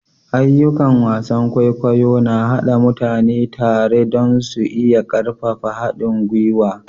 Ayyukan wasan kwaikwayo na haɗa mutane tare don su iya ƙarfafa haɗin gwiwa.